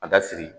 A da siri